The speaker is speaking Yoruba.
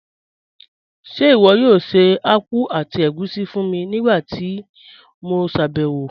Ṣe iwọ yoo ṣe akpụ̀ àti ègúṣí fún mi nigbamíí ti mo ṣabẹwo?